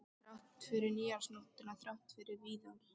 Þrátt fyrir nýársnóttina, þrátt fyrir Viðar.